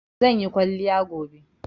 Zan yi kwalliya gobe